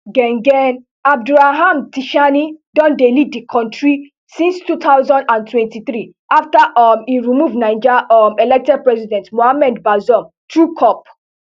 ghen ghen abdulraham tishani don dey lead di kontri since two thousand and twenty-three afta um e remove naija um elected president mohamed bazoum through cop